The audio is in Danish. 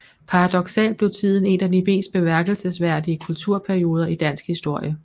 Paradoksalt blev tiden en af de mest bemærkelsesværdige kulturperioder i dansk historie